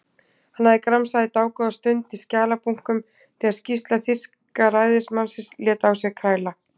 Hann hafði gramsað dágóða stund í skjalabunkum þegar skýrsla þýska ræðismannsins lét á sér kræla.